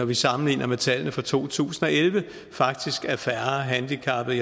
vi sammenligner med tallene fra to tusind og elleve faktisk er færre handicappede